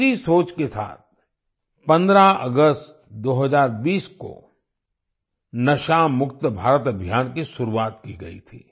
इसी सोच के साथ 15 अगस्त 2020 को नशा मुक्त भारत अभियान की शुरुआत की गई थी